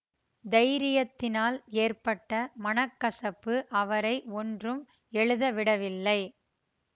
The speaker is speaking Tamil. தைரியத்தினால் ஏற்பட்ட மன கசப்பு அவரை ஒன்றும் எழுதவிடவில்லை